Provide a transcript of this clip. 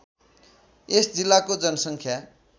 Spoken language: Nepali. यस जिल्लाको जनसङ्ख्या